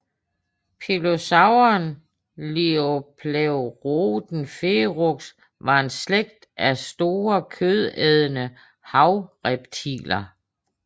Pliosauren Liopleurodon ferox var en slægt af store kødædende havreptiler